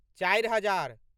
चारि हजार